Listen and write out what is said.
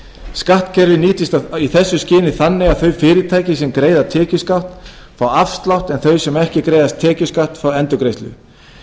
skattkerfið nýtist í þessu skyni þannig að þau fyrirtæki sem greiða tekjuskatt fá afslátt en þau sem ekki greiða tekjuskatt fá endurgreiðslu